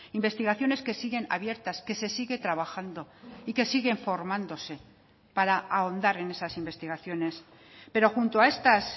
investigaciones que siguen abiertas que se sigue trabajando y que siguen formándose para ahondar en esas investigaciones pero junto a estas